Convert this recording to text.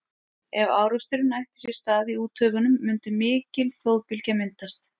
ef áreksturinn ætti sér stað í úthöfunum mundi mikil flóðbylgja myndast